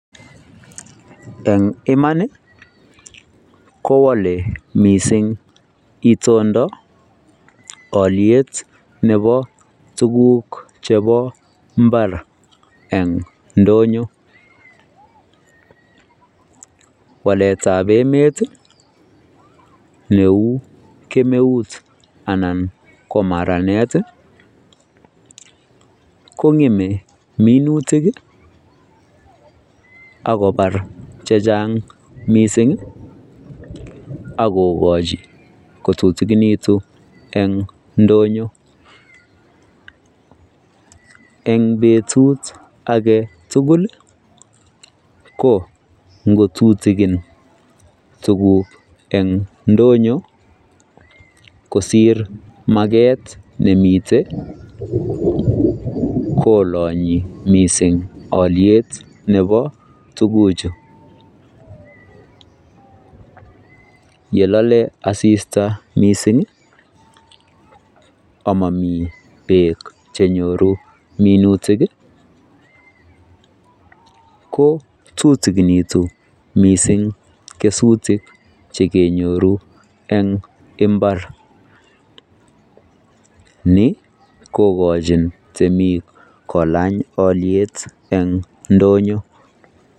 en imaan iih, ko ole mising itondo oliyeet nebo tuguk chebo mbaar en ndonyo, waleet ab emet iih neuu kemeut anan komaraneet iih, kongeme minutik iiih ak kobaar chechang mising ak kogochi kotutuginitun en ndonyo, en betuut agetugul iih ko ngoutigin tuguk en ndonyo, kosiir mageet nemiten, kolonyi mising olyeet nebo tuguchu, yelole asisita mising omomii beek chenyoru minutik iih ko tutuginitun mising kesutik chekenyoru en imbaar, ni kogochin temiik kolaany olyeet en ndonyo.